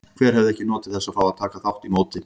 Hver hefði ekki notið þess að fá að taka þátt í móti?